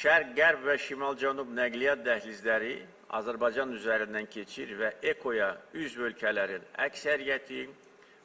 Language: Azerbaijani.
Şərq-Qərb və Şimal-Cənub nəqliyyat dəhlizləri Azərbaycan üzərindən keçir və EKO-ya üzv ölkələrin əksəriyyəti